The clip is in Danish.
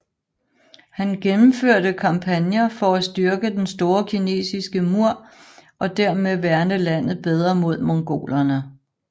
Han gennemførte kampagner for at styrke Den store kinesiske mur og dermed værne landet bedre mod mongolerne